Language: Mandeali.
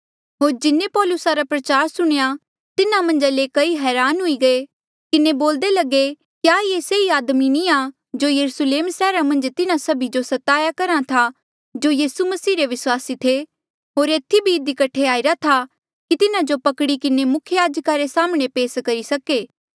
होर जिन्हें पौलूसा रा प्रचार सुणया तिन्हा मन्झा ले कई हरान हुई किन्हें बोल्दे लगे क्या ये से ई आदमी नी आ जो यरुस्लेम सैहरा मन्झ तिन्हा सभी जो स्ताया करहा था जो यीसू मसीह रे विस्वासी थे होर एथी भी इधी कठे आईरा था की तिन्हा जो पकड़ी किन्हें मुख्य याजका रे साम्हणें पेस करी सके